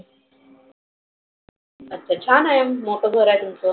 अच्छा छान आहे मोठ घर आहे तुमच.